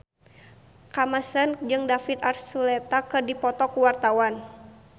Kamasean jeung David Archuletta keur dipoto ku wartawan